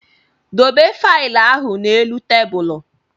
Dobe failụ ahụ n'elu tebụlụ!